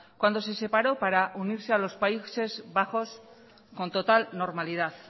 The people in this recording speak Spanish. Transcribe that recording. cuando se separó para unirse a los países bajos con total normalidad